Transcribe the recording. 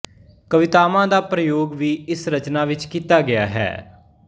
ਕਾਵਿਤਤਾਂ ਦਾ ਪ੍ਰਯੋਗ ਵੀ ਇਸ ਰਚਨਾ ਵਿੱਚ ਕੀਤਾ ਗਿਆ ਹੈ